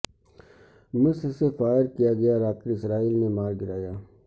مصر سے فائر کیا گیا راکٹ اسرائیل نے مار گرایا